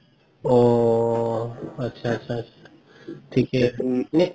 অ আতচা আতচা থিকে আছে